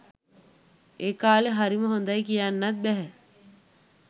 ඒ කාලේ හරිම හොඳයි කියන්නත් බැහැ.